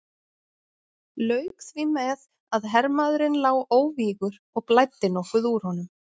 Lauk því með að hermaðurinn lá óvígur og blæddi nokkuð úr honum.